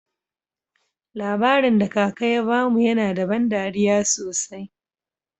Labarin da kaka ya bamu yana da ban dariya sosai.